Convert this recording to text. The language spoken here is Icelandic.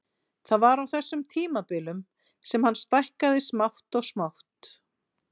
Það var á þessum tímabilum sem hann stækkaði smátt og smátt.